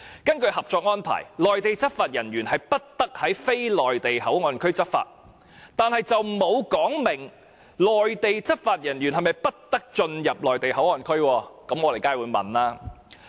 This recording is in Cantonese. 根據《合作安排》，內地執法人員不得在非內地口岸區執法，但卻沒有說明內地執法人員是否不得進入內地口岸區，所以我們必須提出這個問題。